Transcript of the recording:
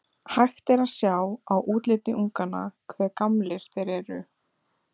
Hægt er að sjá á útliti unganna hve gamlir þeir eru.